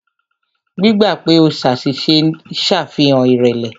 Gbígbà pè o ṣàṣìṣe ń ṣàfihàn ìrẹ̀lẹ̀.